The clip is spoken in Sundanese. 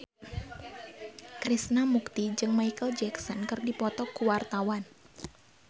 Krishna Mukti jeung Micheal Jackson keur dipoto ku wartawan